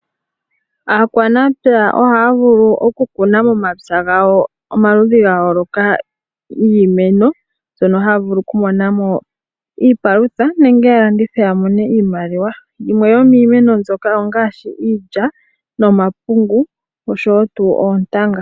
Aanamapya ohaya vulu okukuna momapya gawo omaludhi gayooloka giimeno mbyono haya vulu kumona mo iipalutha nenge ya landithe ya mone iimaliwa. Yimwe yomiimeno mbyoka ongaashi iilya nomapungu oshowo oontanga.